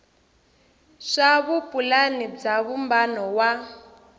swa vupulani bya vumbano wa